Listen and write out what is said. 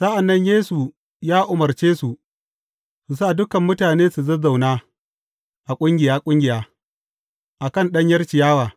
Sa’an nan Yesu ya umarce su su sa dukan mutanen su zazzauna ƙungiya ƙungiya a kan ɗanyar ciyawa.